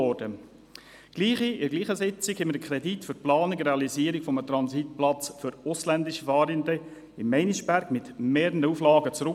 In derselben Sitzung wiesen wir einen Kredit für die Planung und Realisierung für ausländische Fahrende in Meinisbergmit mehreren Auflagen zurück.